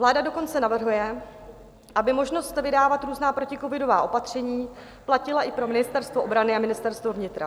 Vláda dokonce navrhuje, aby možnost vydávat různá proticovidová opatření platila i pro Ministerstvo obrany a Ministerstvo vnitra.